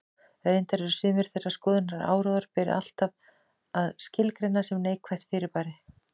Reyndar eru sumir þeirrar skoðunar að áróður beri ávallt að skilgreina sem neikvætt fyrirbæri.